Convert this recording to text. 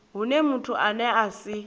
hune muthu ane a si